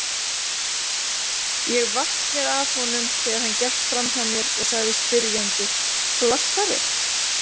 Ég vatt mér að honum þegar hann gekk framhjá mér og sagði spyrjandi: Flassari?